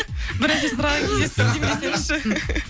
бірінші сұраған кезде сіз деймін десеңізші